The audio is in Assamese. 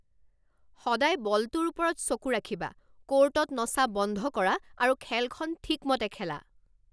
সদায় বলটোৰ ওপৰত চকু ৰাখিবা! ক'ৰ্টত নচা বন্ধ কৰা আৰু খেলখন ঠিকমতে খেলা।